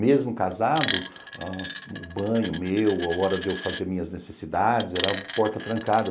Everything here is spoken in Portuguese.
Mesmo casado, o banho meu, a hora de eu fazer minhas necessidades, era porta trancada.